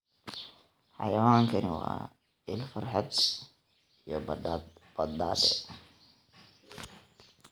Xayawaankani waa il farxad iyo badhaadhe.